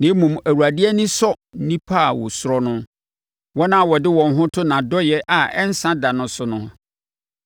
Na mmom, Awurade ani sɔ nnipa a wɔsuro no, wɔn a wɔde wɔn ho to nʼadɔeɛ a ɛnsa da no so no.